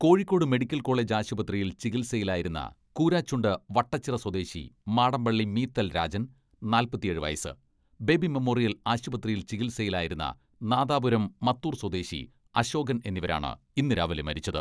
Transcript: Kozhikode medical college ആശുപത്രിയിൽ ചികിത്സയിലായിരുന്ന കൂരാച്ചുണ്ട് വട്ടച്ചിറ സ്വദേശി മാടമ്പള്ളി മീത്തൽ രാജൻ, നാല്പത്തിയേഴ് വയസ്, ബേബി മെമ്മോറിയൽ ആശുപ്രതിയിൽ ചികിത്സയിലായിരുന്ന നാദാപുരം മത്തൂർ സ്വദേശി അശോകൻ എന്നിവരാണ് ഇന്ന് രാവിലെ മരിച്ചത്.